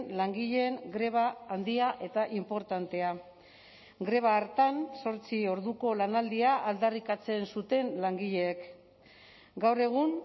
langileen greba handia eta inportantea greba hartan zortzi orduko lanaldia aldarrikatzen zuten langileek gaur egun